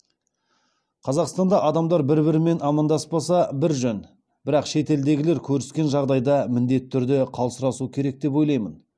қазақстанда адамдар бір бірімен амандаспаса бір жөн бірақ шетелдегілер көріскен жағдайда міндетті түрде қал сұрасу керек деп ойлаймын